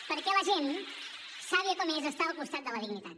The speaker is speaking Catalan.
perquè la gent sàvia com és està al costat de la dignitat